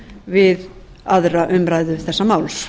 við aðra umræðu þessa máls